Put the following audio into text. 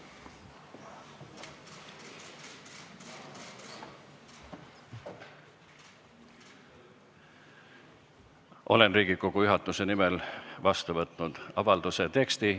Olen Riigikogu juhatuse nimel vastu võtnud avalduse teksti.